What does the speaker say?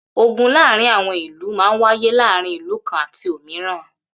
Ogun láàárín àwọn ìlú máa ń wáyé láàárín ìlú kan àti òmíràn.